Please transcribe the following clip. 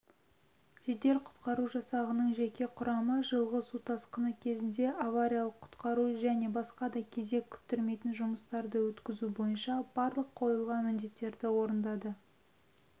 жедел-құтқару жасағының жеке құрамы жылғы су тасқыны кезеңінде авариялық-құтқару және басқа да кезек күттірмейтін жұмыстарды өткізу бойынша барлық қойылған міндеттерді орындады